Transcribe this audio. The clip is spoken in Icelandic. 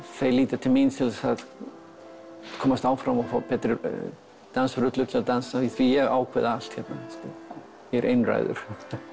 þau líti til mín til að komast áfram og fá betri dansrullur því ég ákveð allt hér ég er einráður